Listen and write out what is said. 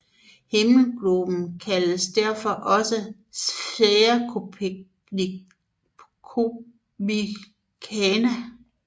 Himmelgloben kaldes derfor også for Sphaera Copernicana